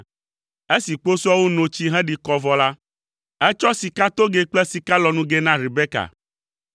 Esi kposɔawo no tsi heɖi kɔ vɔ la, etsɔ sikatogɛ kple sikalɔnugɛ na Rebeka.